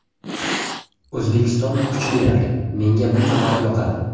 O‘zbekiston kuchli raqib, menga bu jamoa yoqadi.